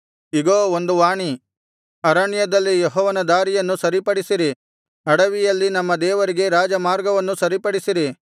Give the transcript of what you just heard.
ಇಗೋ ಒಂದು ವಾಣಿ ಅರಣ್ಯದಲ್ಲಿ ಯೆಹೋವನ ದಾರಿಯನ್ನು ಸರಿಪಡಿಸಿರಿ ಅಡವಿಯಲ್ಲಿ ನಮ್ಮ ದೇವರಿಗೆ ರಾಜಮಾರ್ಗವನ್ನು ಸರಿಪಡಿಸಿರಿ